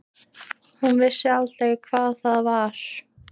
Hún vissi aldrei hvað það var.